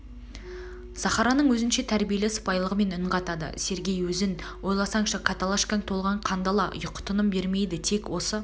сахараның өзінше тәрбиелі сыпайылығымен үн қатады сергей өзің ойласаңшы каталашкаң толған қандала ұйқы-тыным бермейді тек осы